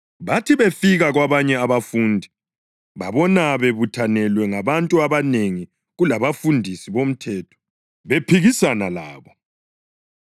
Bathi befika kwabanye abafundi babona bebuthanelwe ngabantu abanengi kulabafundisi bomthetho bephikisana labo.